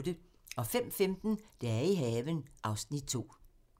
05:15: Dage i haven (Afs. 2)